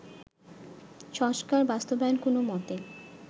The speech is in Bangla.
সংস্কার বাস্তবায়ন কোনো মতেই